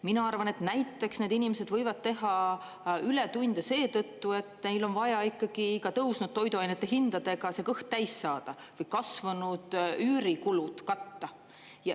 Mina arvan, et näiteks need inimesed võivad teha ületunde seetõttu, et neil on vaja ikkagi tõusnud toiduainete hindadega kõht täis saada või kasvanud üürikulud katta.